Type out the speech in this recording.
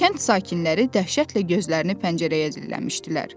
Kənd sakinləri dəhşətlə gözlərini pəncərəyə dilləmişdilər.